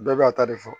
Bɛɛ b'a ta de fɔ